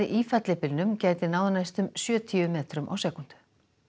í fellibylnum gæti náð næstum sjötíu metrum á sekúndu